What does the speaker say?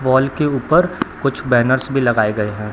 Wall के ऊपर कुछ बैनर्स भी लगाए गए हैं।